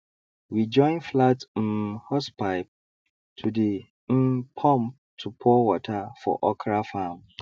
we join flat um hosepipe to the um pump to pour water for okra farm